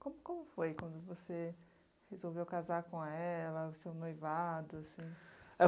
Como foi quando você resolveu casar com ela, o seu noivado, assim?